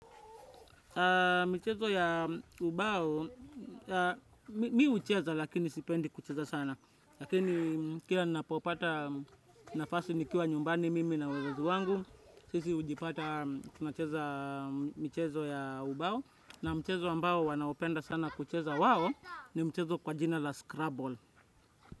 Michezo ya ubao, mimi hucheza lakini sipendi kucheza sana. Lakini kila ninapopata, nafasi nikiwa nyumbani mimi na wazazi wangu. Sisi hujipata, tunacheza michezo ya ubao. Na mchezo ambao wanaopenda sana kucheza wao, ni mchezo kwa jina la scrabble.